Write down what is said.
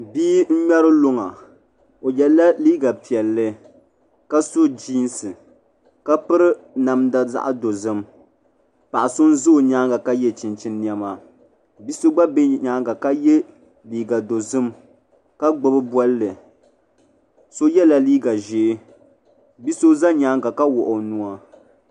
Bia n ŋmɛri luŋa o yɛla liiga piɛlli ka so jiinsi la piri namda zaɣ dozim paɣa so bɛ o nyaangi ka yɛ chinchin niɛma bia so gba bɛ nyaanga ka yɛ liiga dozim ka gbubi bolli so yɛla liiga ʒiɛ bia so ʒɛ nyaanga ka wuɣi o nuwa